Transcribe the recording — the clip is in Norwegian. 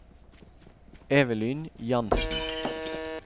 Evelyn Jansen